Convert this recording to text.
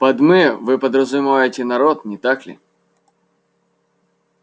под мы вы подразумеваете народ не так ли